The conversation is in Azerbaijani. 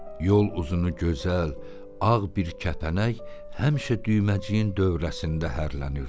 Yol uzunu gözəl, ağ bir kəpənək həmişə düyməciyin dövrəsində hərlənirdi.